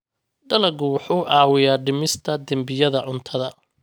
Dalaggu wuxuu caawiyaa dhimista dembiyada cuntada.